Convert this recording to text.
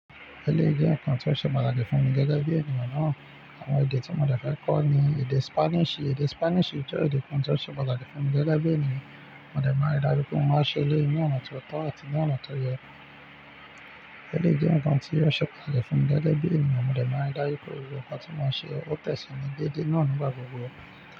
Eléyìí jẹ́ nǹkan tó ṣe pàtàkì fún mi gẹ́gẹ́ bí ènìyàn náà. Àwọn èdè tí mo dẹ̀ fẹ́ kọ́ ni èdè Spanish. Èdè Spanish jẹ́ èdè kan tó ṣe pàtàkì fún mi gẹ́gẹ́ bí ènìyàn. Mo dẹ̀ máa n rí dájú pé mo máa ṣe eléyìí ní ọ̀nà ti ó tọ́ àti ní ọ̀nà tó yẹ. Eléyìí jẹ́ nǹkan tí ó ṣe pàtàkì fún mi gẹ́gẹ́ bí ènìyàn. Mo dẹ máa n rí dájú pé gbogbo nkan tí mo máa ṣe ó tẹ̀síni déédéé naa ni gba gbogbo.